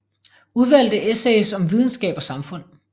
Udvalgte essays om videnskab og samfund